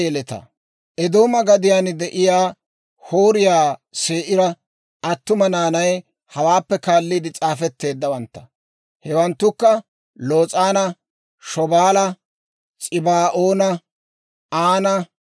Eedooma gadiyaan de'iyaa Hooriyaa Se'iira attuma naanay hawaappe kaalliide s'aafetteeddawantta; hewanttukka Los'aana, Shobaala, S'ibaa'oona, Aana,